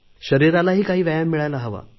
शरीरालाही काही व्यायाम मिळायला हवा